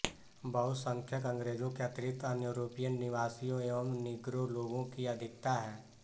बहुसंख्यक अंग्रेजों के अतिरिक्त अन्य यूरोपीय निवासियों एवं नीग्रो लोगों की अधिकता है